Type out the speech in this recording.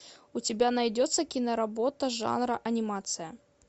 у тебя найдется киноработа жанра анимация